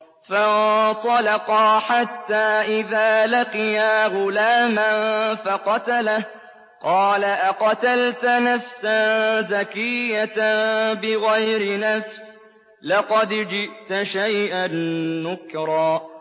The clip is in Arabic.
فَانطَلَقَا حَتَّىٰ إِذَا لَقِيَا غُلَامًا فَقَتَلَهُ قَالَ أَقَتَلْتَ نَفْسًا زَكِيَّةً بِغَيْرِ نَفْسٍ لَّقَدْ جِئْتَ شَيْئًا نُّكْرًا